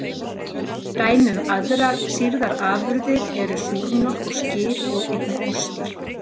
Dæmi um aðrar sýrðar afurðir eru súrmjólk og skyr og einnig ostar.